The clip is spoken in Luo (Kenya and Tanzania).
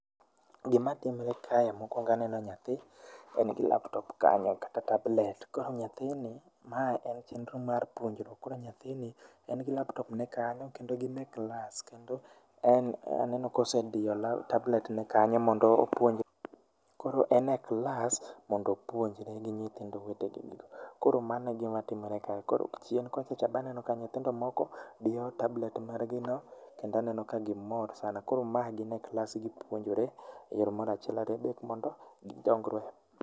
Gima timore kae mokuongo aneno nyathi en gi laptop kanyo kata tablet kae nyathini mae en chenro mar puonjruok koro en gi laptop ne kanyo kendo gin e class aneno kosediyo laptop ne kanyo mondo opuonjre koro en e class mondo opuonjre gi nyithindo wetene, koro mano e gima timore kae ,koro chien kochacha be aneno ka nyithindo moko diyo tablet mar gi no kendo aneno ka gimor sana koro ma gin e class gipuonjore e yor mag achiel ariyo adek mondo gi dongre.